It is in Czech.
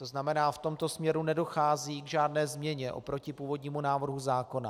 To znamená, v tomto směru nedochází k žádné změně oproti původnímu návrhu zákona.